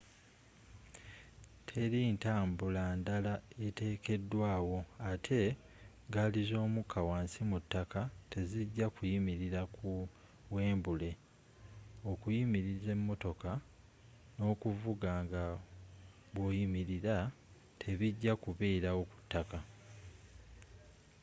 teri ntambula ndala etekedwa wo atte gaali zomuka wansi mu ttaka tezijja kuyimirira ku wembule okuyimiriza emotoka n'okuvuga nga bwoyimirira tebijja kuberaawo kuttaka